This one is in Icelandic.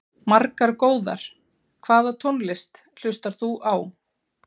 Margar góðar Hvaða tónlist hlustar þú á?